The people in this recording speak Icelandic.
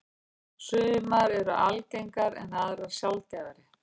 Sumar eru algengar en aðrar sjaldgæfari.